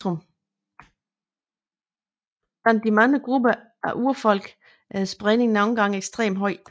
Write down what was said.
Blandt de mange grupper af urfolk er spredningen nogle steder ekstremt høj